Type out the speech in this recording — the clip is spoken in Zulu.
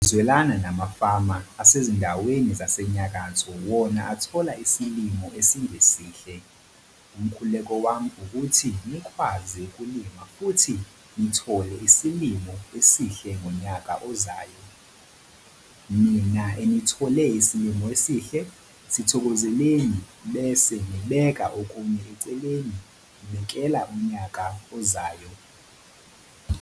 Ngizwelana namafama asezindaweni zasenyakatho wona athole isilimo esingesihle - umkhuleko wami ukuthi nikwazi ukulima futhi nithole isilimo esihle ngonyaka ozayo. Nina enithole isilimo esihle - sithokozeleni bese nibeka okunye eceleni nibekela unyaka ozayo.